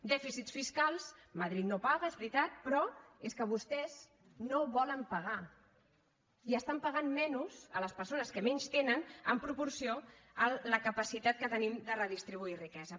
dèficits fiscals madrid no paga és veritat però és que vostès no volen pagar i estan pagant menys a les persones que menys tenen en proporció a la capacitat que tenim de redistribuir riquesa